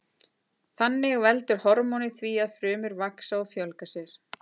Þannig veldur hormónið því að frumur vaxa og fjölga sér.